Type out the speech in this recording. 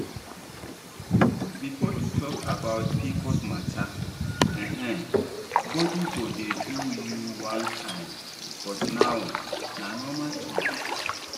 before to talk about pcos matter[um]body go dey do you one kind but now na normal talk.